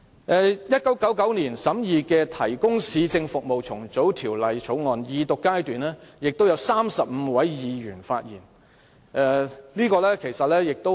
在1999年審議的《提供市政服務條例草案》，也有35位議員在二讀辯論時發言。